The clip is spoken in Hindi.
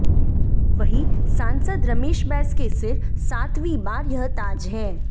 वहीं सांसद रमेश बैस के सिर सातवीं बार यह ताज है